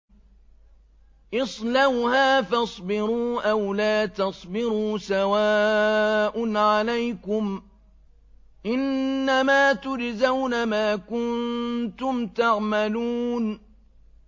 اصْلَوْهَا فَاصْبِرُوا أَوْ لَا تَصْبِرُوا سَوَاءٌ عَلَيْكُمْ ۖ إِنَّمَا تُجْزَوْنَ مَا كُنتُمْ تَعْمَلُونَ